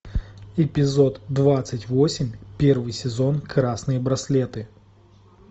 эпизод двадцать восемь первый сезон красные браслеты